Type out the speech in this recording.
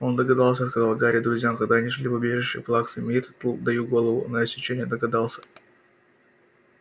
он догадался сказал гарри друзьям когда они шли в убежище плаксы миртл даю голову на отсечение догадался